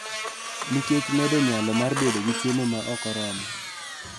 Nikech medo nyalo mar bedo gi chiemo ma ok oromo.